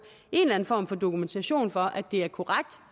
en form for dokumentation for at det er korrekt